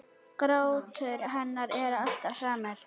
Grátur hennar er alltaf samur.